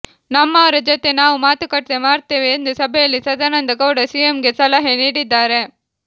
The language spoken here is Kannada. ನಮ್ಮವರ ಜೊತೆ ನಾವು ಮಾತುಕತೆ ಮಾಡ್ತೇವೆ ಎಂದು ಸಭೆಯಲ್ಲಿ ಸದಾನಂದ ಗೌಡ ಸಿಎಂಗೆ ಸಲಹೆ ನೀಡಿದ್ದಾರೆ